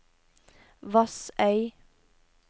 Vassøy